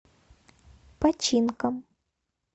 починком